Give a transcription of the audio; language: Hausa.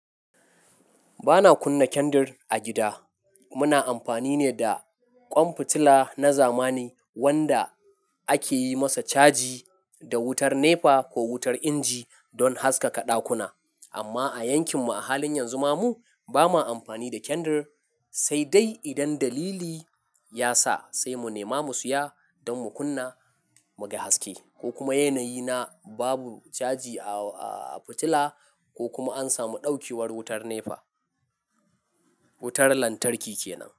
Ba na kunna kendir a gida. Muna amfani ne da ƙwan fitila na zamani wanda ake yi masa caji da wutar NEPA ko wutar inji don haskaka ɗakuna. Amma a yankinmu a halin yanzu, mu ba ma amfani da kendir, sai dai idan dalili ya sa sai mu nema mu saya don mu kunna mu ga haske, ko kuma yanayi na babu caji a fitila ko kuma an samu ɗaukewar wutar NEPA. Wutar lantarki kenan.